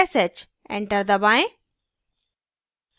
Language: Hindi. enter दबाएँ